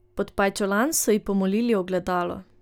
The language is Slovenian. Pod pajčolan so ji pomolili ogledalo.